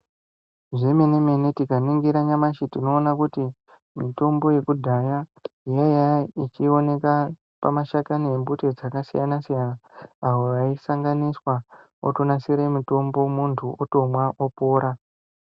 Zvemene mene tikaningira nyamashi tinoone kuti mitombo yekudhaya yaiya ichioneke pamashakani embuti dzakasiyana siyana awo aisanganiswa otonasire mutombo muntu otomwa opora.